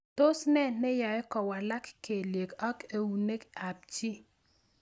Tos ne neyae kowalak kelyek ak eunek ab chii?